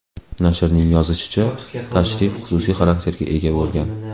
Nashrning yozishicha, tashrif xususiy xarakterga ega bo‘lgan.